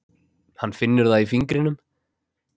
Hann finnur það í fingrinum.